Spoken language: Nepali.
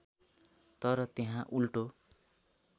तर त्यहाँ उल्टो